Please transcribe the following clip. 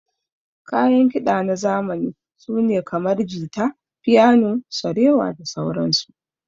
Kayan kida na zamani sune kamar, jita, fiyano, sarewa da sauran su.